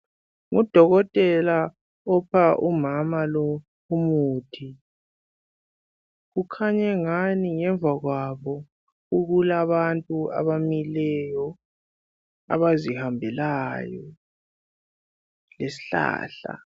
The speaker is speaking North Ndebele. Udokotela upha lo umama umuthi. Kukhanya engani ngemva kwabo kulabantu abamileyo, abazihambelayo lesihlahla